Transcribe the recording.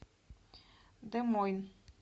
де мойн